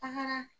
An ka